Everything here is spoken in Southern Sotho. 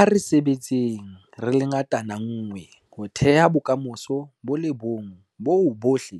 A re sebetseng re le ngatana nngwe ho theha bokamoso bo le bong boo bohle